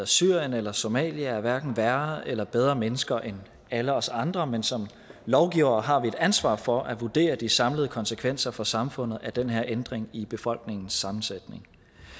syrien eller somalia er hverken værre eller bedre mennesker end alle os andre men som lovgivere har vi et ansvar for at vurdere de samlede konsekvenser for samfundet af den her ændring i befolkningssammensætningen